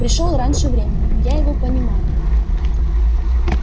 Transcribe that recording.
пришёл раньше времени но я его понимаю